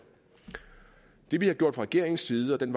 det vi har gjort fra regeringens side og den